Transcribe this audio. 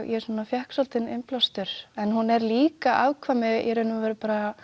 ég svona fékk svolítinn innblástur en hún er líka afkvæmi í raun og veru